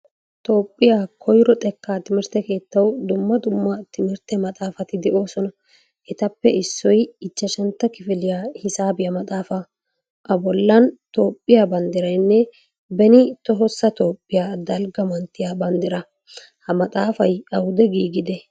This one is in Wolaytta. Toophphiyaa koyro xekkaa timirtte kettawu dumma dumma timirtte maxaafaati de'oosona. Etappe issoy ichchashshantta kifiliyaa hisaabiya maxaafaa. A bollan Toophphiyaa banduiraaynne beni tohossa Toophphiyaa dalgaa manttiya bandira. Ha maxaafaay awude giigidee?